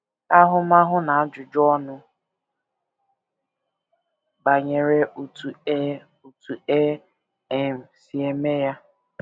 Ahụmahụ na Ajụjụ Ọnụ Banyere Otú E Otú E um Si Eme Ya